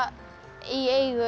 í eigu